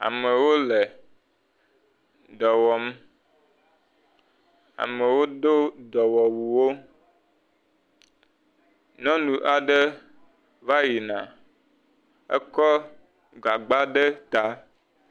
Amewo le dɔ wɔm. Amewo do dɔmewuwo. Nyɔnu aɖe va yina, ekɔ gagba ɖe ta.